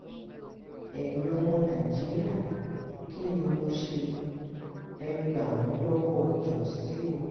ẹ̀yin ọmọ nàìjíríà kí ni mo ṣe é gbà mí lọ́wọ́ jóṣí o